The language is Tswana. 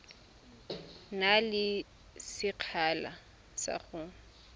na le sekgala sa go